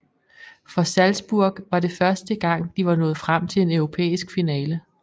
For Salzburg var det første gang de var nået frem til en europæisk finale